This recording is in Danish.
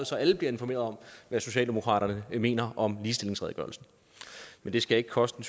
så alle bliver informeret om hvad socialdemokratiet mener om ligestillingsredegørelsen men det skal ikke koste